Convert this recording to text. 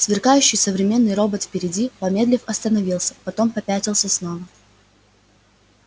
сверкающий современный робот впереди помедлив остановился потом попятился снова